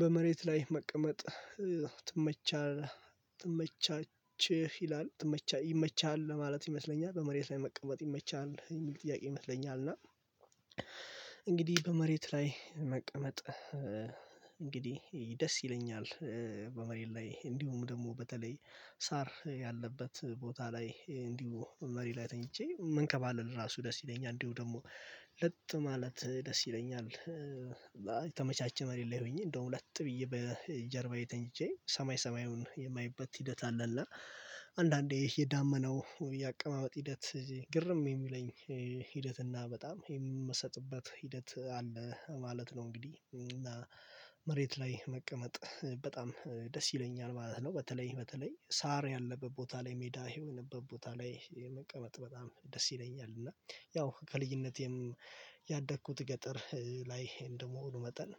በመሬት ላይ መቀመጥ ትመቻ ትመቻለህ ይላል ይመችለህ ለማለት ይመስለኛል። በመሬት ላይ መቀመጥ ይመችሃል የሚል ጥያቄ ይመስለኛል። እና እንግዲህ በመሬት ላይ መቀመጥ እንግዲህ ደስ ይለኛል። በመሬት ላይ እንዲሁም ደግሞ በተለይ ሳር ያለበት ቦታ ላይ እንዲሁ መሬ ላይ ተኝቼ መንከባለል ራሱ ደስ ይለኛል። እንዲሁ ደግሞ ለጥ ማለት ደስ ይለኛል። የተመቻቸ መሬት ላይ ሆኜ እንደውም ለጥ ብዬ በጀርባዬ ተኝቼ ሰማይ ሰማዩን የማይበት ሂደት አለ። እና አንዳንዴ የዳመናው ያቀማመጥ ሂደት ግርም የሚለኝ ሂደት እና በጣም የምሰጥበት ሂደት አለ ማለት ነው እንግዲህ። እና መሬት ላይ መቀመጥ በጣም ደስ ይለኛል ማለት ነው። በተለይ በተለይ ሳር ያለበት ቦታ ላይ ሜዳ የሆነበት ቦታ ላይ መቀመጥ በጣም ደስ ይለኛል። እና ያው ከልጅነቴም ያደግኩት ገጠር ላይ እንደመሆኑ መጠን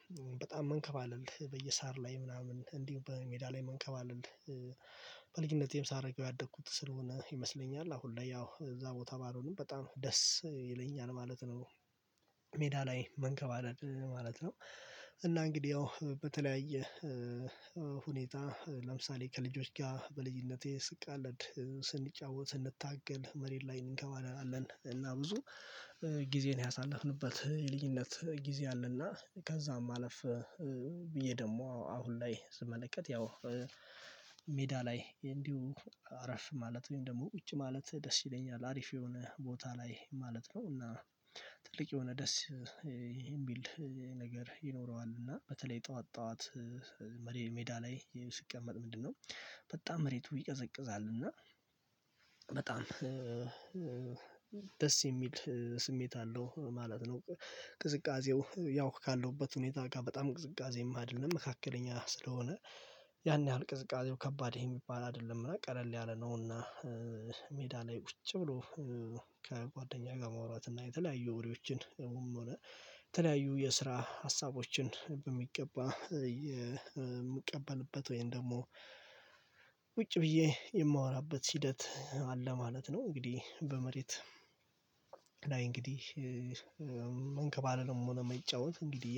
በጣም መንከባለል በየሳር ላይ ምናምን እንዲሁ በሜዳ ላይ መንከባለል በልጅነቴም ሳረገው ያደግኩት ስለሆነ ይመስለኛል አሁን ላይ ያው እዛ ቦታ ባለውንም በጣም ደስ ይለኛል ማለት ነው። ሜዳ ላይ መንከባለል ማለት ነው። እና እንግዲህ ያው በተለያየ ሁኔታ ለምሳሌ ከልጆች ጋር በልጅነቴ ስቃለድ ስንጫወት ስንታገል መሬት ላይ እንከባለናለን። እና ብዙ ጊዜን ያሳለፍንበት የልጅነት ጊዜ አለ። እና ከዛም አለፍ ብዬ ደግሞ አሁን ላይ ስመለከት ያው ሜዳ ላይ እንዲሁ አረፍ ማለት ወይም ደግሞ ውጭ ማለት ደስ ይለኛል። አሪፍ የሆነ ቦታ ላይ ማለት ነው። እና ትልቅ የሆነ ደስ የሚል ነገር ይኖረዋል። እና በተለይ ጠዋት ጠዋት መሬት ሜዳ ላይ ስቀመጥ ምንድነው በጣም መሬቱ ይቀዘቅዛል። እና በጣም ደስ የሚል ስሜት አለው ማለት ነው። ቅዝቃዜው ያው ካለሁበት ሁኔታ ጋር በጣም ቅዝቃዜ አይደለም፤ መካከለኛ ስለሆነ ያን ያህል ቅዝቃዜው ከባድ የሚባል አይደለም እና ቀለል ያለ ነው። እና ላይ ቁጭ ብሎ ከጓደኛ ጋር ማውራት እና የተለያዩ ወሬዎችን የተለያዩ የስራ ሀሳቦችን በሚገባ የምቀበልበት ወይም ደግሞ ብዬ የማወራበት ሂደት አለ ማለት ነው። እንግዲህ በመሬት እንግዲህ መንከባለልም ሆነ መጫወት እንግዲህ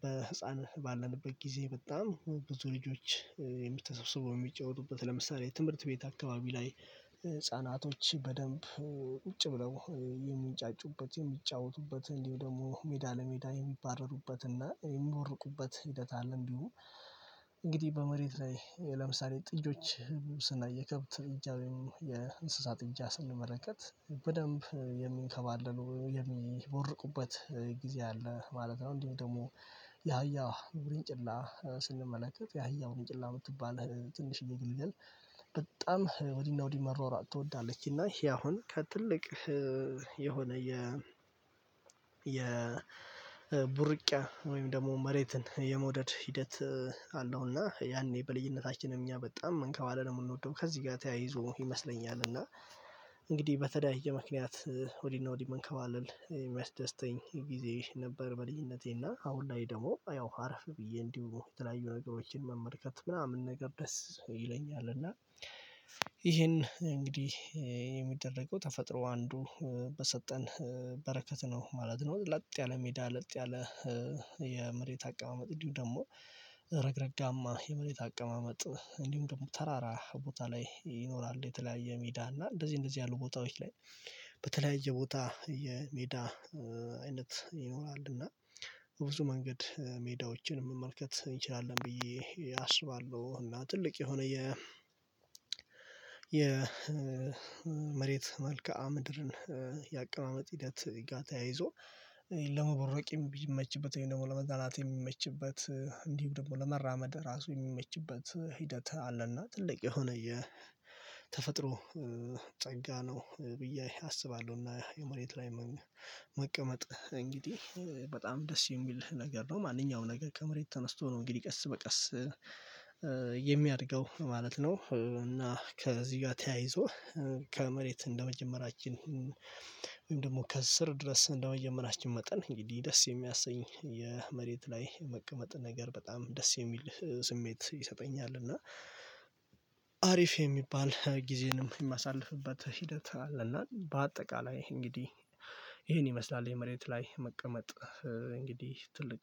በህፃን ባለንበት ጊዜ በጣም ብዙ ልጆች ተሰብስበው የሚጫወቱበት ለምሳሌ ትምህርት ቤት አካባቢ ላይ ህፃናቶች በደንብ ቁጭ ብለው የሚንጫጩበት የሚጫወቱበት እንዲሁ ደግሞ ሜዳ ለሜዳ የሚባረሩበት እና የሚቦርቁበት ሂደት አለ እንዲሁ። እንግዲህ በመሬት ላይ ለምሳሌ ጥጆች ስናይ የከብት ጥጃ ወይም የእንስሳ ጥጃ ስንመለከት በደንብ የሚንከባለሉ የሚቦርቁበት ጊዜ አለ ማለት ነው። እንዲህ ደግሞ የአህያ ወርንጭላ ስንመለከት የአህያ ወርንጭላ የምትባል ትንሽዬ ግልገል በጣም ወዲህና ወዲህ መሯሯጥ ትወዳለች። እና ይሄ አሁን ከትልቅ የሆነ የ የ የቡርቂያ ወይም ደግሞ መሬትን የመውደድ ሂደት አለው። እና ያኔ በልጅነታችንም እኛ በጣም መንከባለ የምንወደው ከዚህ ጋር ተያይዞ ይመስለኛል። እና እንግዲህ በተለያየ ምክንያት ወዲህ እና ወዲህ መንከባለል የሚያስደስተኝ ጊዜ ነበር በልኝነቴ። እና አሁን ላይ ደግሞ ያው አረፍ ብዬ እንዲሁ የተለያዩ ነገሮችን መመልከት ምናምን ነገር ደስ ይለኛል። እና ይሄን እንግዲህ የሚደረገው ተፈጥሮ አንዱ በሰጠን በረከት ነው ማለት ነው። ለጥ ያለ ሜዳ ለጥ ያለ የመሬት አቀማመጥ እንዲሁ ደግሞ ረግረጋማ የመሬት አቀማመጥ እንዲሁም ደግሞ ተራራ ቦታ ላይ ይኖራል የተለያየ ሜዳ እና እንደዚህ እንደዚህ ያሉ ቦታዎች ላይ በተለያየ ቦታ የሜዳ አይነት ይኖራል። እና ብዙ መንገድ ሜዳዎችን መመልከት እንችላለን ብዬ አስባለሁ። እና ትልቅ የሆነ የ የ የመሬት መልከአ ምድርን የአቀማመጥ ሂደት ጋር ተያይዞ ለመቦረቅም የሚመችበት ወይም ደግሞ ለመዝናናት የሚመችበት እንዲህ ደግሞ ለመራመድ ራሱ የሚመችበት ሂደት አለ። እና ትልቅ የሆነ የተፈጥሮ ጸጋ ነው ብዬ አስባለሁ። እና የመሬት ላይ መቀመጥ እንግዲህ በጣም ደስ የሚል ነገር ነው። ማንኛውም ነገር ከመሬት ተነስቶ ነው እንግዲህ ቀስ በቀስ የሚያድገው ማለት ነው። እና ከዚህ ጋር ተያይዞ ከመሬት እንደመጀመራችን ወይም ደግሞ ከስር ድረስ እንደመጀመራችን መጠን እንግዲህ ደስ የሚያሰኝ የመሬት ላይ የመቀመጥ ነገር በጣም ደስ የሚል ስሜት ይሰጠኛል። እና አሪፍ የሚባል ጊዜንም የማሳልፍበት ሂደት አለ። እና በአጠቃላይ እንግዲህ ይሄን ይመስላል የመሬት ላይ መቀመጥ። እንግዲህ ትልቅ